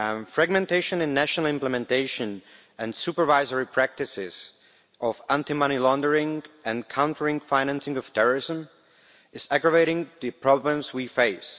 Fragmentation in national implementation and supervisory practices in relation to anti-money laundering and countering the financing of terrorism is aggravating the problems we face.